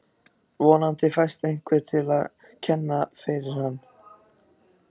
Vonandi fæst einhver til að kenna fyrir hann.